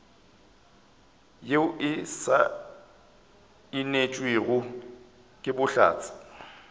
yeo e saenetšwego ke bohlatse